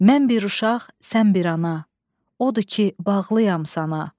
Mən bir uşaq, sən bir ana, odur ki, bağlıyam sana.